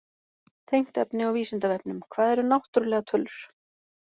Tengt efni á Vísindavefnum: Hvað eru náttúrlegar tölur?